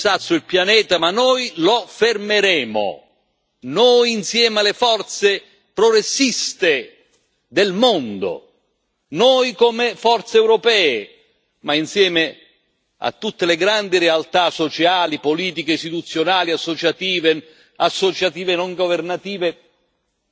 Noi, insieme alle forze progressiste del mondo, noi come forze europee, ma insieme a tutte le grandi realtà sociali, politiche, istituzionali, associative e associative non governative, noi insieme fermeremo